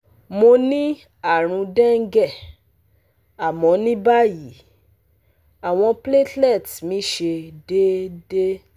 Mo ni àrùn dengue, àmọ́ ní báyìí, awon platelets mi se deede